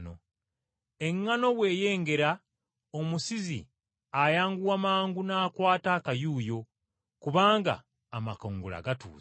Eŋŋaano bw’eyengera omusizi ayanguwa mangu n’akwata akayuuyo, kubanga amakungula gatuuse.”